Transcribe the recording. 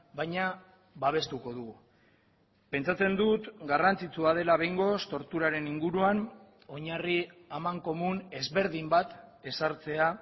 baina babestuko dugu pentsatzen dut garrantzitsua dela behingoz torturaren inguruan oinarri amankomun ezberdin bat ezartzea